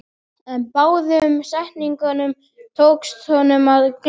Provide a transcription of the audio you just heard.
En báðum setningunum tókst honum að gleyma.